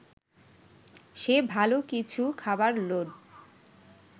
সে ভালো কিছু খাবার লোভ